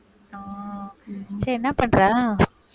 ஆஹ் சரி என்ன பண்ற